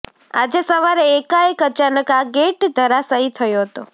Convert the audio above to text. આજે સવારે એકાએક અચાનક આ ગેટ ધરાશાયી થયો હતો